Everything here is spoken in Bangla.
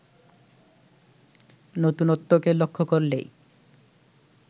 নতুনত্বকে লক্ষ করলেই